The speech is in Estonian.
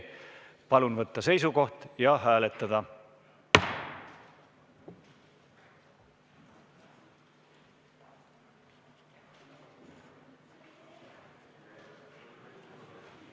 Palun võtta seisukoht ja hääletada!